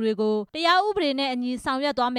တွေကို တရားဥပဒေနဲ့အညီ ဆောင်ရွက်သွားမ